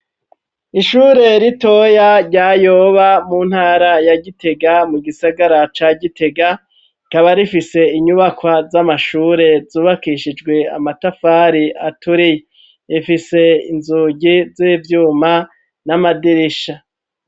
Ishure ritoya rya Yoba mu ntara ya Gitega mu gisagara ca Gitega, rikaba rifise inyubakwa z'amashure zubakishijwe amatafari aturiye, ifise inzugi z'ivyuma n'amadirisha.